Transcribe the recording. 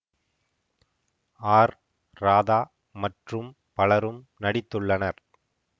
R Radha மற்றும் பலரும் நடித்துள்ளனர்